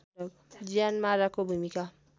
ज्यानमाराको भूमिका